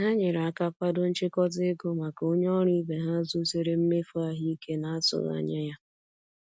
Ha nyere aka kwado nchịkọta ego maka onye ọrụ ibe ha zutere mmefu ahụike n'atụghị anya ya.